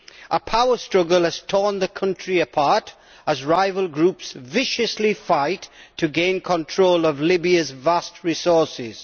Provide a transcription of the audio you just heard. A power struggle has torn the country apart, as rival groups viciously fight to gain control of Libya's vast resources.